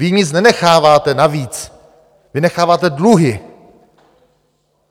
Vy nic nenecháváte navíc, vy necháváte dluhy.